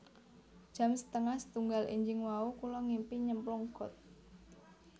Jam setengah setunggal enjing wau kula ngimpi nyemplung got